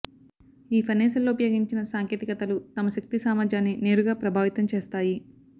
ఈ ఫర్నేసులలో ఉపయోగించిన సాంకేతికతలు తమ శక్తి సామర్థ్యాన్ని నేరుగా ప్రభావితం చేస్తాయి